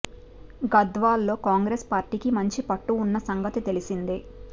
గద్వాల్ లో కాంగ్రెస్ పార్టీకి మంచి పట్టు ఉన్న సంగతి తెలిసిందే